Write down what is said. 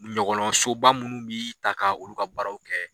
Ɲɔgɔlɔn so ba minnu bi ta k'olu ka baraw kɛ.